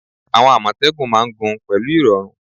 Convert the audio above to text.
Àwọn Àmọ̀tẹ́kùn máa ń gun pẹ̀lú irọrun